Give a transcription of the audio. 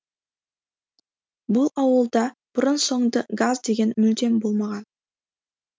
бұл ауылда бұрын соңды газ деген мүлдем болмаған